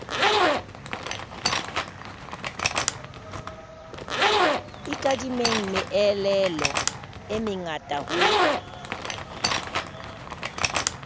ikadimeng meelelo e mengata ho